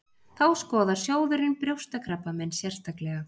Þá skoðar sjóðurinn brjóstakrabbamein sérstaklega